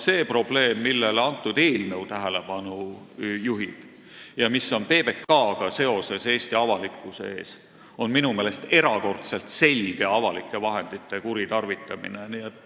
See probleem, millele kõnealune eelnõu tähelepanu juhib ja mis on Eesti avalikkuse ees seoses PBK-ga, on minu meelest erakordselt selge avalike vahendite kuritarvitamine.